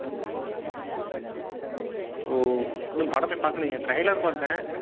ஓ! இன்னும் படமே பாக்கலீங்களே. trailer பார்த்தேன்.